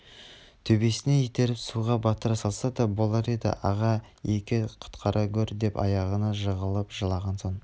төбесінен итеріп суға батыра салса да болар еді аға-еке құтқара гөр деп аяғына жығылып жылаған соң